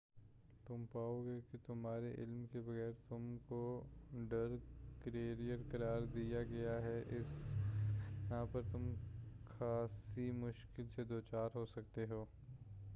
تم پاؤ گے کہ تمہارے علم کے بغیر تم کو ڈرگ کیریر قرار دے دیا گیا ہے اس بنا پر تم خاصی مشکل سے دوچار ہو سکتے ہو